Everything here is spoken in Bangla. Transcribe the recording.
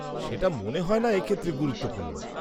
-সেটা মনে হয় না এ ক্ষেত্রে গুরুত্বপূর্ণ।